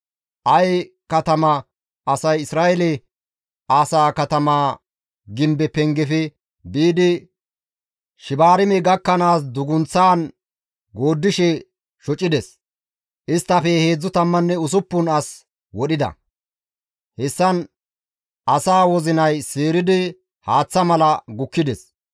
Aye katama asay Isra7eele asaa katamaa gimbe pengefe biidi Shibaarme gakkanaas dugunththaan gooddishe shocides; isttafe 36 as wodhida; hessan asaa wozinay seeridi haaththa mala gukkides.